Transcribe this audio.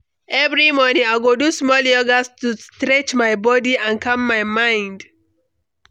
Every morning, I go do small yoga to stretch my body and calm my mind.